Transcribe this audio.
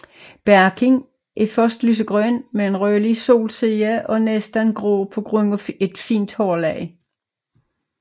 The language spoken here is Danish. Barken er først lysegrøn med en rødlig solside eller næsten grå på grund af et fint hårlag